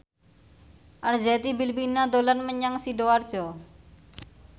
Arzetti Bilbina dolan menyang Sidoarjo